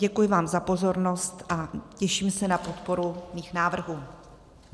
Děkuji vám za pozornost a těším se na podporu svých návrhů.